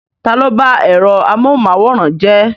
Ta ló bá ẹ̀rọ amóhunmáwòrán jẹ́?